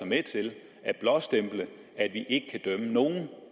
med til at blåstemple at vi ikke kan dømme nogen